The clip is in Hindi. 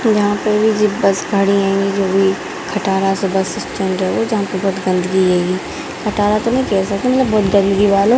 तो यहाँ पे भी जो बस खड़ी हैंगी जो भी खटारा सी बस स्टैंड है वो जहाँ पे बहुत गन्दगी हैंगी | खटारा तो नहीं कह सकते मतलब बहुत गन्दगी वाला --